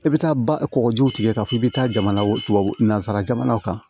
I bɛ taa ba kɔkɔjiw tigɛ k'a fɔ k'i bɛ taa jamana wo nanzara jamanaw kan